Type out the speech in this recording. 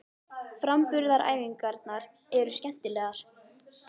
Framburðaræfingarnar eru skemmtilegar.